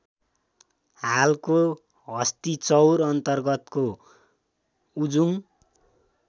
हालको हस्तिचौर अन्तर्गतको उजुङ